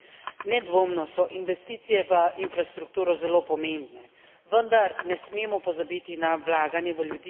Nedvomno so investicije v infrastrukturo zelo pomembne, vendar ne smemo pozabiti na vlaganje v ljudi.